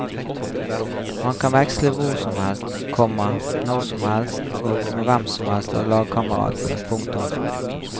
Man kan veksle hvor som helst, komma når som helst og med hvem som helst av lagkameratene. punktum